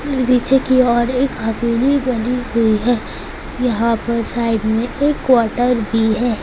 नीचे की औरएक हवेली बनी हुई है यहाँ पर साइड में एक क्वार्टर भी है।